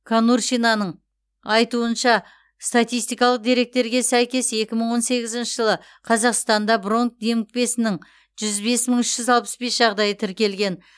конуршинаның айтуынша статистикалық деректерге сәйкес екі мың он сегізінші жылы қазақстанда бронх демікпесінің жүз бес мың үш жүз алпыс бес жағдайы тіркелген